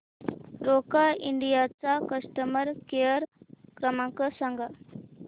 Roca India चा customer care क्रमांक सांगा